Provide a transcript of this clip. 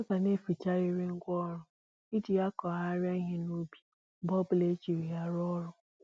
A ga na-eficharịrị ngwá ọrụ e jì akụghari ihe n'ubi mgbe ọbula e jiri ya rụọ ọrụ